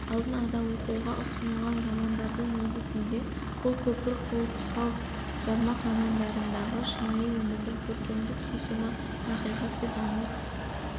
алдын-ада оқуға ұсынылған романдардың негізінде қыл көпір қыл тұсау жармақ романдарындағы шынайы өмірдің көркемдік шешімі ақиқат пен аңыз